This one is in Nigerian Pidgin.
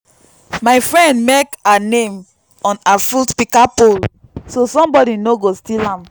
my friend mek her name on her fruit pika pole so sombodi no go steal am